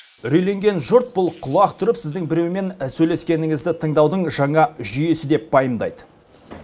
үрейленген жұрт бұл құлақ түріп сіздің біреумен сөйлескеніңізді тыңдаудың жаңа жүйесі деп пайымдайды